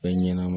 Fɛn ɲɛnɛma